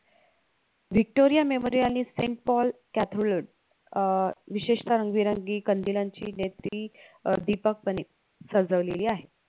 victoria memory आणि saint paul cathelod अह विशेतः कंदिलांची दिपकपणे सजवलेलीआहे